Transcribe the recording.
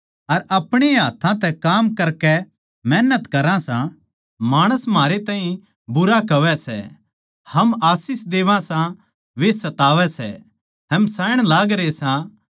अर अपणेए हाथ्थां तै काम करकै मेहनत करा सां माणस म्हारै ताहीं भुंडा कहवै सै हम आशीष देवां सां वे सतावै सै हम सहन करा सां